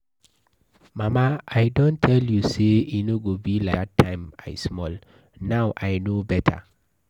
Mama I don tell you say e no go be like dat time I small now I no beta.